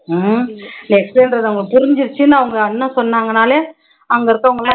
அஹ் explain பண்றது அவங்க புரிஞ்சுடுச்சுன்னு அவங்க அண்ணன் சொன்னாங்கன்னாலே அங்க இருக்கவங்க எல்லாம்